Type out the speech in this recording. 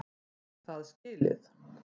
Er það skilið?